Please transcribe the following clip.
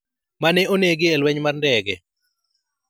mane onegi e lweny mar ndege